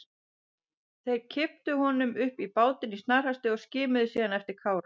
Þeir kipptu honum upp í bátinn í snarhasti og skimuðu síðan eftir Kára.